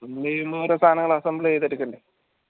എയ്യുമ്പൊ ഓരോ സാധനങ്ങൾ assemble ചെയ്തെട്ക്കണ്ടെ